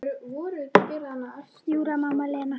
Í útlegð í Mið-Asíu: Júra, mamma, Lena.